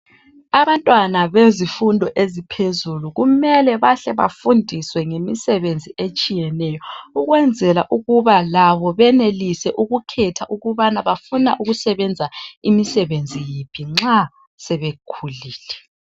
Abantwana bezifundo eziphezulu kumele bahle bafundiswe ngemisebenzi etshiyeneyo ukwenzela ukuba labo benelise ukukhetha ukubana bafuna imisebenzi yiphi nxa sebekhulile.